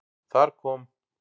Þar kom